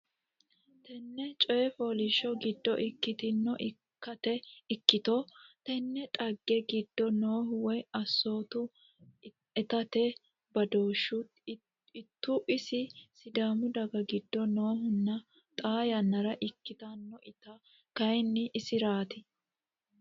tenne coy fooliishsho giddo ikkitino ikkito tenne dhagge giddo noohu woy assooti itate badooshshu ittu ise Sidaamu daga giddo noohunna xaa yannara ikkitanna iti kayinni isiraati.